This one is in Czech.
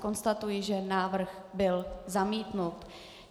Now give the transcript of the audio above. Konstatuji, že návrh byl zamítnut.